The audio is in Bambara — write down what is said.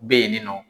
Bɛ yen nɔ